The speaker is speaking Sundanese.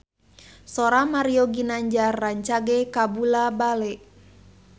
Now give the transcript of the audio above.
Sora Mario Ginanjar rancage kabula-bale